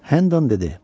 Hendan dedi: